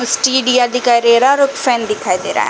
स्टीडीअ दिखाई दे रहा है और क फैन दिखाई दे रहा है ।